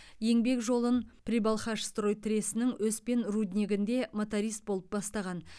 еңбек жолын прибалхашстрой тресінің өспен руднигінде моторист болып бастаған